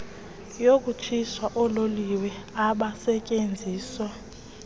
yokutshisa oololiwe abasetyenziswa